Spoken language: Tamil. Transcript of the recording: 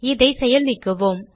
இதை செயல் நீக்குவோம்